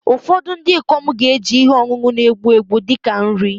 Ụfọdụ ndị ikom ga-eji ihe ọṅụṅụ na-egbu egbu dị ka nri